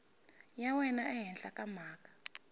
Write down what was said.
ya wena ehenhla ka mhaka